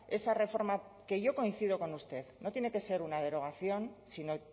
esa reforma que yo coincido con usted no tiene que ser una derogación sino